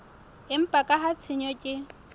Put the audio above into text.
empa ka ha tshenyo ke